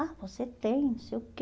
Ah, você tem, não sei o quê.